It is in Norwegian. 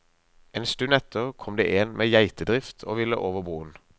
En stund etter kom det én med en geitedrift og ville over broen.